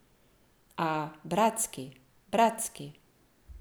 A, bratski, bratski.